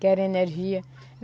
Querem energia.